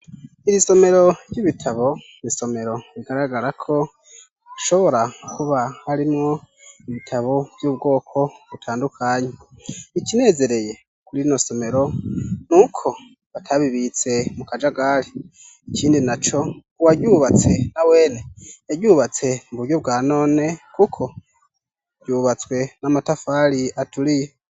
Iri isomero ry'ibitabo, n'isomero bigaragara ko, hashobora kuba harimwo ibitabo vy'ubwoko butandukanye. Ikinezereye, kuri rino somero, n'uko batabibitse mu kajagari. Ikindi na co, uwaryubatse na wene, yaryubatse mu buryo bwa none, kuko ryubatswe n'amatafari aturiye.